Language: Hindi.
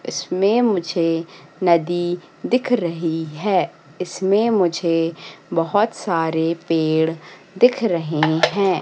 इसमें मुझे नदी दिख रहीं हैं इसमें मुझे बहोत सारे पेड़ दिख रहें हैं।